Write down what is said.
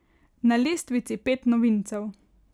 Na lestvici pet novincev.